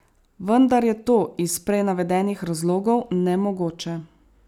Vendar je to iz prej navedenih razlogov nemogoče.